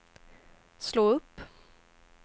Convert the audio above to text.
slå upp